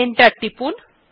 enter টিপুন